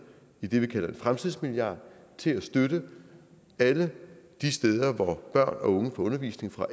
det vi kalder en fremtidsmilliard til at støtte alle de steder hvor børn og unge får undervisning fra